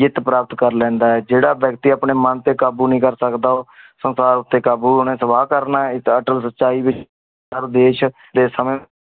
ਜਿਤ ਪ੍ਰਾਪਤ ਕਰ ਲੈਂਦਾ ਆ। ਜੇੜਾ ਵ੍ਯਕ੍ਤਿ ਅਪਨੇ ਮਨ ਤੇ ਕਾਬੂ ਨੀ ਕਰ ਸਕਦਾ ਊ ਸੰਸਾਰ ਉਤੇ ਕਾਬੂ ਓਨੇ ਸਵਾ ਕਰਨਾ ਆ ਏ ਤਾ ਅਟਲ ਸਚਾਈ